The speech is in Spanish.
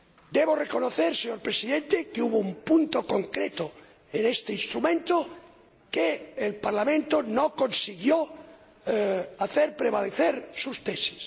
Debo reconocer, señor Presidente, que hubo un punto concreto en este instrumento sobre el que el Parlamento no consiguió hacer prevalecer sus tesis.